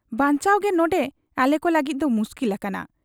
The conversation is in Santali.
ᱵᱟᱧᱪᱟᱣᱜᱮ ᱱᱚᱱᱰᱮ ᱟᱞᱮᱠᱚ ᱞᱟᱹᱜᱤᱫ ᱫᱚ ᱢᱩᱥᱠᱤᱞ ᱟᱠᱟᱱᱟ ᱾